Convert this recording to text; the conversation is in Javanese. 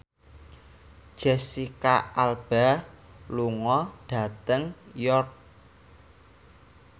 Jesicca Alba lunga dhateng York